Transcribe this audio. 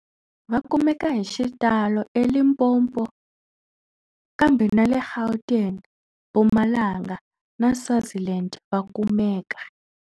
Va kumeka hi xitalo eLimpopo, kambe na le Gauteng, Mpumalanga na Swaziland va kumeka.